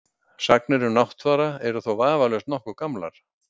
Sagnir um Náttfara eru þó vafalaust nokkuð gamlar.